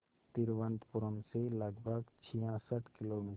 तिरुवनंतपुरम से लगभग छियासठ किलोमीटर